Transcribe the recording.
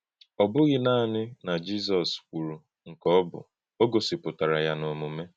Ọ̀ bụ́ghị́ nanị na Jizọ́s kwùrù nke ọ bụ́, ó gósípụtara yá n’òmùmé.